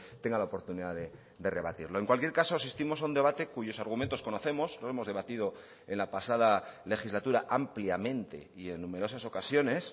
tenga la oportunidad de rebatirlo en cualquier caso asistimos a un debate cuyos argumentos conocemos lo hemos debatido en la pasada legislatura ampliamente y en numerosas ocasiones